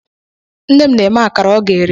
Nne m na-eme akara ọ ga-ere.